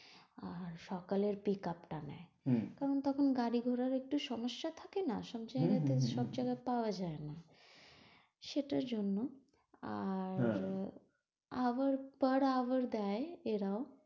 আর সকালে pickup টা নেয়। কারণ তখন গাড়ি ঘোড়াও একটু সমস্যা থাকে না। আর সব জায়গায় তো পাওয়া যায় না সেটার জন্য আর per hour দেয় এরাও,